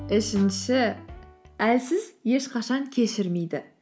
үшінші әлсіз ешқашан кешірмейді